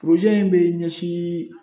in bɛ ɲɛsin